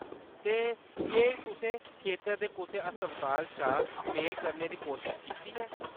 ते, केह्‌‌ तुसें खेतर दे कुसै हस्पताल शा मेल करने कीती कोशश कीती ऐ ?